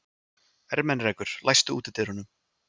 Ermenrekur, læstu útidyrunum.